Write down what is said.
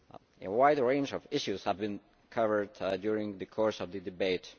A wide range of issues have been covered during the course of the debate.